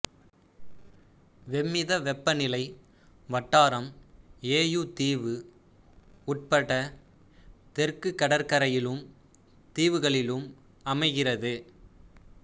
வெம்மிதவெப்பநிலை வட்டாரம் யேயூ தீவு உட்பட்ட தெற்குக் கடற்கரையிலும் தீவுகளிலும் அமைகிறது